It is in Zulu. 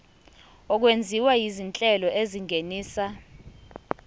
okwenziwa izinhlelo ezingenisa